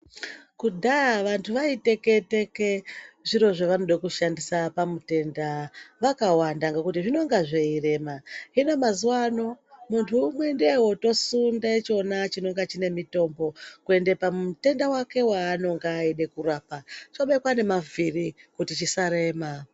Kudhaya vantu vaiteke teke zviri zvavaide kushandisa pamutenda vakawanda ngekuti zvinenge zveirema, hino mazuwano muntu umwe ndiye otosunde chona chinenge chine mutombo kuende pamutenda wake waanenge eide kurapa chobekwe nemavhiri kuti zvisarema.